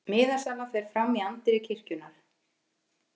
Miðasala fer fram í anddyri kirkjunnar